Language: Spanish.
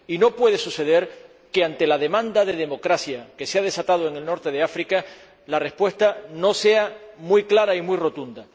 Y no puede suceder que, ante la demanda de democracia que se ha desatado en el norte de África, la respuesta no sea muy clara y muy rotunda.